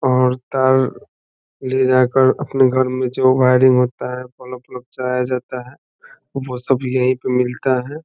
और तार ले जाकर अपने घर में जो वायरिंग होता है बल्ब - उलब जाता है वो सब यही पे मिलता है ।